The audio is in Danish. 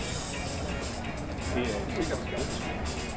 Det er et sikkert skalkeskjul.